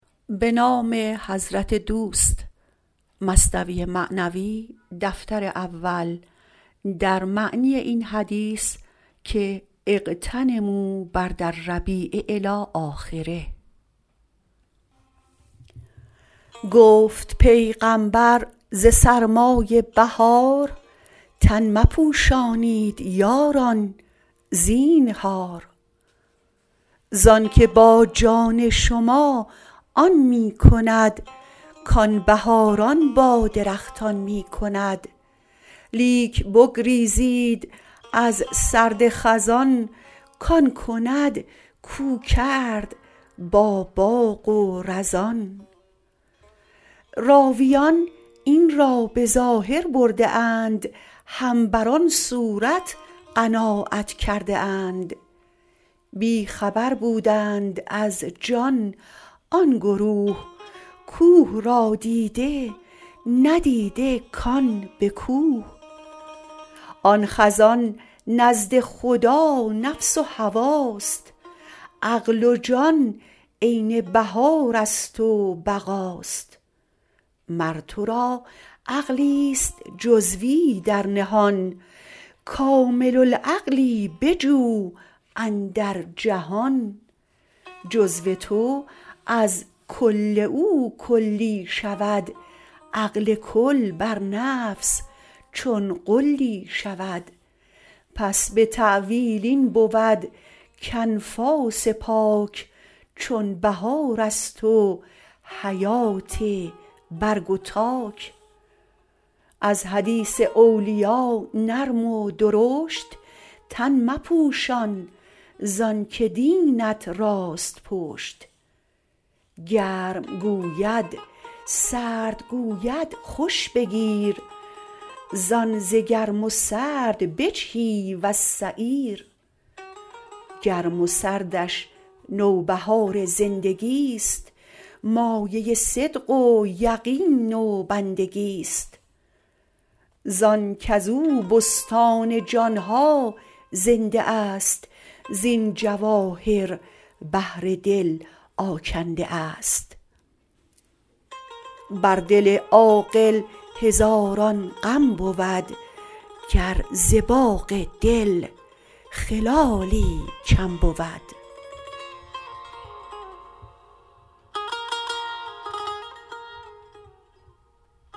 گفت پیغامبر ز سرمای بهار تن مپوشانید یاران زینهار زانک با جان شما آن می کند کان بهاران با درختان می کند لیک بگریزید از سرد خزان کان کند کو کرد با باغ و رزان راویان این را به ظاهر برده اند هم بر آن صورت قناعت کرده اند بی خبر بودند از جان آن گروه کوه را دیده ندیده کان به کوه آن خزان نزد خدا نفس و هواست عقل و جان عین بهار است و بقاست مر ترا عقلیست جزوی در نهان کامل العقلی بجو اندر جهان جزو تو از کل او کلی شود عقل کل بر نفس چون غلی شود پس به تأویل این بود کانفاس پاک چون بهار است و حیات برگ و تاک از حدیث اولیا نرم و درشت تن مپوشان زانک دینت راست پشت گرم گوید سرد گوید خوش بگیر تا ز گرم و سرد بجهی وز سعیر گرم و سردش نوبهار زندگیست مایه صدق و یقین و بندگیست زان کزو بستان جان ها زنده است زین جواهر بحر دل آگنده است بر دل عاقل هزاران غم بود گر ز باغ دل خلالی کم شود